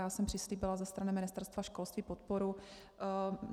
Já jsem přislíbila ze strany Ministerstva školství podporu.